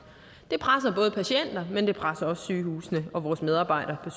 det presser både patienterne men det presser også sygehusene og vores medarbejdere